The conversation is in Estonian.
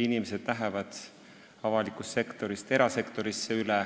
Inimesed lähevad avalikust sektorist erasektorisse üle